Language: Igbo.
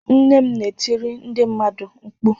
Nne m na-etiri ndị mmadụ mkpu.